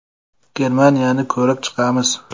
Germaniyani ko‘rib chiqamiz.